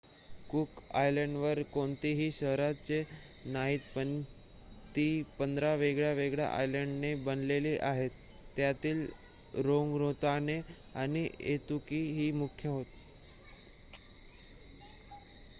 Cook आयलंडवर कोणतीही शहरे नाहीत पण ती १५ वेगवेगळ्या आयलंडने बनलेली आहेत. त्यातील रारोतोंगा आणि ऐतुताकी ही मुख्य होत